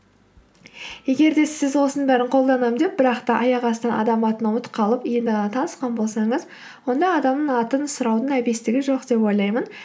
егер де сіз осының бәрін қолданамын деп бірақ та аяқ астынан адам атын ұмытып қалып енді ғана танысқан болсаңыз онда адамның атын сұраудың әбестігі жоқ деп ойлаймын